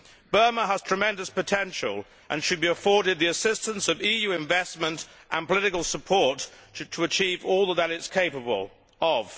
Burma has tremendous potential and should be afforded the assistance of EU investment and political support to achieve all that it is capable of.